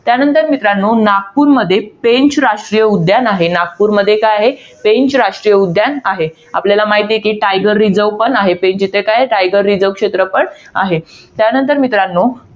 त्यानंतर मित्रांनो, नागपूरमध्ये पेंच राष्ट्रीय उद्यान आहे. नागपूरमध्ये काय आहे? पेंच राष्ट्रीय उद्यान आहे. आपल्याला माहित आहे कि, tiger reserve देखील आहे. पेंच इथे काय tiger reserve क्षेत्र पण आहे. त्यानंतर मित्रांनो,